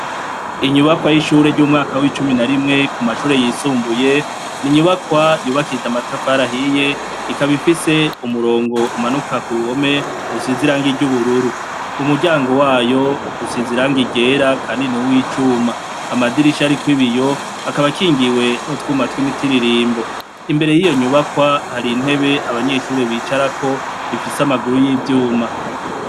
Inyubakwa y'ishure ryumwaka wicumi narimwe ku mashure yisumbuye, n’inyubakwa yubakishije amatafari ahiye ikaba ifise umurongo umanuka kuruhome usize irangi ryubururu, umuryango wayo usize irangi ryera kandi nuw'icuma, amadirisha ariko ibiyo akaba akingiwe nutwuma twimiti ibirimbo, imbere yiyo nyubakwa hari intebe abanyeshure bicarako ifise amaguru yivyuma.